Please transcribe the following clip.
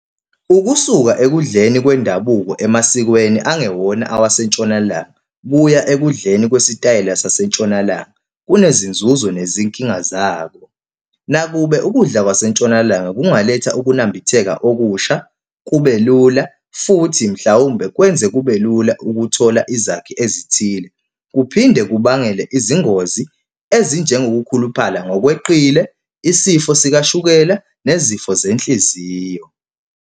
Ukusuka ekudleni kwendabuko emasikweni angewona awasentshonalanga kuya ekudleni kwesitayela sasentshonalanga, kunezinzuzo nezinkinga zakho. Nakube ukudla kwasentshonalanga kungaletha ukunambitheka okusha, kube lula, futhi mhlawumbe kwenze kube lula ukuthola izakhi ezithile. Kuphinde kubangele izingozi ezinjengokukhuluphala ngokweqile, isifo sikashukela, nezifo zenhliziyo.